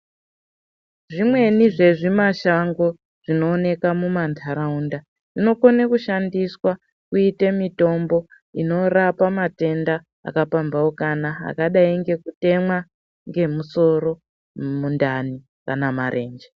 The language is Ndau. Zvimweni zvezvimashango zvinooneka mumanharaunda zvinokone kushandiswa kuite mitombo inorapa matenda akapamphaukana akadai ngekutemwa ngemusoro, mundani kana marenje.